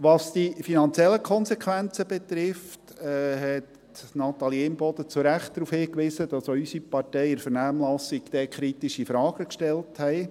Was die finanziellen Konsequenzen betrifft, hat Natalie Imboden zu Recht darauf hingewiesen, dass auch unsere Partei in der Vernehmlassung kritische Fragen gestellt hat.